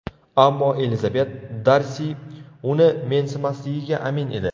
Ammo Elizabet Darsi uni mensimasligiga amin edi.